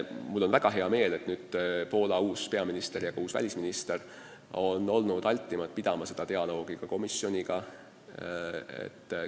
Mul on väga hea meel, et Poola uus peaminister ja ka uus välisminister on olnud altimad seda dialoogi komisjoniga pidama.